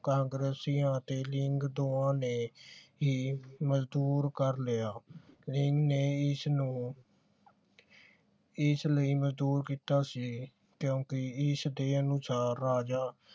ਕਾਂਗਰੇਸੀ ਤੇ ਦੋਵਾਂ ਨੇ ਹੀ ਮਜਦੂਰ ਕਰ ਲਿਆ ਲੀਗ ਨੇ ਇਸ ਨੂੰ ਇਸ ਲਈ ਮੰਜੂਰ ਕੀਤਾ ਸੀ ਕਿਓਂਕਿ ਇਸ ਦੇ ਅਨੁਸਾਰ ਰਾਜਾ